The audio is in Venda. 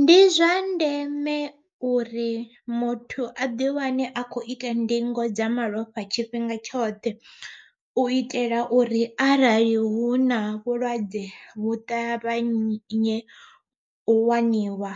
Ndi zwa ndeme uri muthu a ḓi wane a khou ita ndingo dza malofha tshifhinga tshoṱhe, u itela uri arali huna vhulwadze vhu ṱavhanye u waniwa